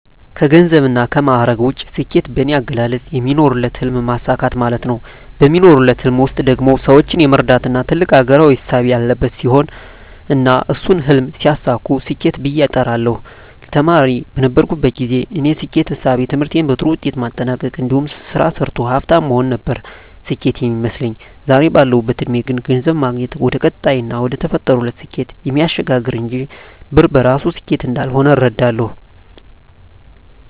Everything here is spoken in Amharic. ከገንዘብና ከማዕረግ ውጭ፣ ስኬት በኔ አገላለጽ የሚኖሩለትን ህልም ማሳካት ማለት ነው። በሚኖሩለት ህልም ውስጥ ደግሞ ሰወችን የመርዳትና ትልቅ አገራዊ እሳቤ ያለበት ሲሆን እና እሱን ህልም ሲያሳኩ ስኬት ብየ እጠራዋለሁ። ተማሪ በነበርኩበት ግዜ የኔ ስኬት እሳቤ ትምህርቴን በጥሩ ውጤት ማጠናቅ እንዲሁም ስራ ሰርቶ ሀፍታም መሆን ነበር ስኬት ሚመስለኝ። ዛሬ ባለሁበት እድሜ ግን ገንዘብ ማግኘት ወደቀጣይና ወደተፈጠሩለት ስኬት እሚያሸጋግር እንጅ ብር በራሱ ስኬት እንዳልሆነ እረዳለሁ።